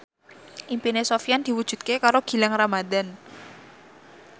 impine Sofyan diwujudke karo Gilang Ramadan